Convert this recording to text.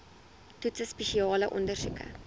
toetse spesiale ondersoeke